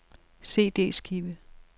CD-skive